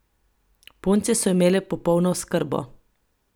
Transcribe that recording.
Punce so imele popolno oskrbo.